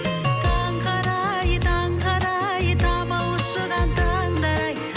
таңғы арай таңғы арай тамылжыған таңдар ай